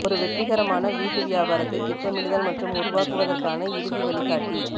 ஒரு வெற்றிகரமான வீட்டு வியாபாரத்தை திட்டமிடுதல் மற்றும் உருவாக்குவதற்கான இறுதி வழிகாட்டி